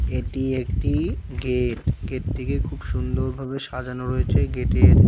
এটি একটি গেট গেটটিকে খুব সুন্দর ভাবে সাজানো রয়েছে গেটের--